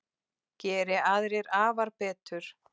Geri aðrir afar betur.